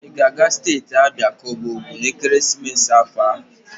I ga-aga steeti Abia ka ọ bụ Ogun n'ekeresimesi afọ a?